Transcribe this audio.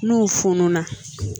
N'u funu na